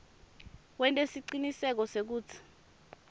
wente siciniseko sekutsi